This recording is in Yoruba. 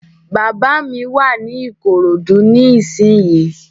Bàbá mi wà ní Ìkòròdú ní ìsínyi